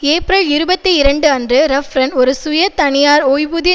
April இருபத்தி இரண்டுஅன்று ரஃப்ரன் ஒரு சுய தனியார் ஒய்வூதிய